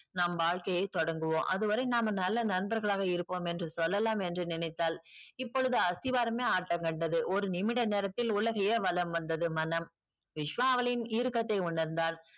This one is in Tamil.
நம் வாழ்க்கையை தொடங்குவோம் அதுவரை நாம நல்ல நண்பர்களாவே இருப்போம் என்று சொல்லலாம் என்று நினைத்தால் இப்பொழுது அஸ்திவாரமே ஆட்டம் கண்டது ஒரு நிமிட நேரத்தில் உலகையே வளம் வந்தது மனம் விஷ்வா அவளின் இறுக்கத்தை உணர்ந்தான்